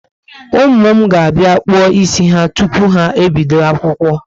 Ụmụ m ga bia kpuo ísì ha tupu ha ebido akwụkwọ